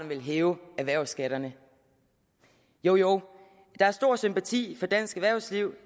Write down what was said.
vil hæve erhvervsskatterne jo jo der er stor sympati for dansk erhvervsliv